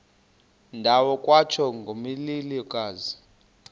ndawo kwatsho ngomlilokazi